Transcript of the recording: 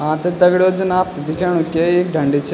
हाँ त दगड़ियों जन आपथे दिख्याणू के ये एक ढंडी च।